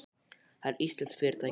Það er íslenskt fyrirtæki.